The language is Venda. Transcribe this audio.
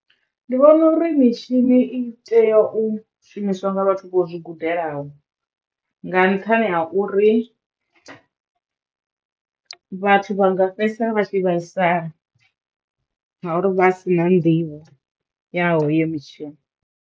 Ndi vhona uri mitshini i teyo u shumiswa nga vhathu vho zwi gudelaho nga nṱhani ha uri vhathu vha nga fhedzisela vha tshi vhaisala ngauri vha si na nḓivho ya hoyo mitshini.